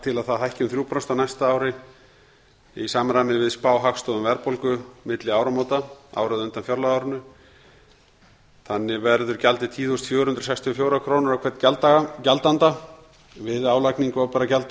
til að það hækki um þrjú prósent á næsta ári í samræmi við spá hagstofu um verðbólgu milli áramóta árið á undan fjárlagaárinu þannig verður gjaldið tíu þúsund fjögur hundruð sextíu og fjórar krónur á hvern gjaldanda við álagningu opinberra